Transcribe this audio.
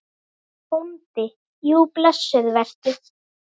BÓNDI: Jú, blessuð vertu.